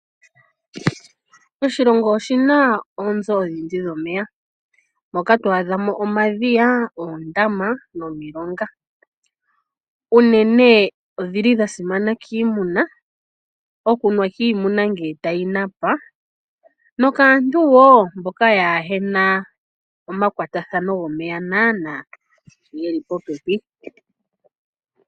Oshilongo oshina oonzo odhindji dhomeya, moka twadhamo omadhiya, ondama, nomilonga, unene odhili shasimana kimuna, okunwa kimuna ngele tayinapa nokaantu wo mboka yahena oma kwatathano ngomeya nana ngeli popepi.